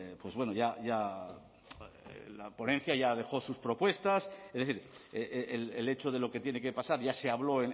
pues bueno ya ya la ponencia ya dejó sus propuestas es decir el hecho de lo que tiene que pasar ya se habló